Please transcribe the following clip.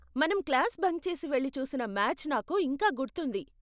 మనం class bunk చేసి వెళ్లి చూసిన మ్యాచ్ నాకు ఇంకా గుర్తుంది.